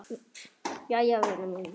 Jæja vina mín.